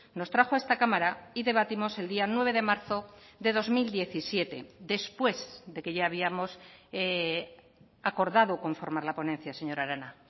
nos trajo a esta cámara y debatimos el día nueve de marzo de dos mil diecisiete después de que ya habíamos acordado conformar la ponencia señora arana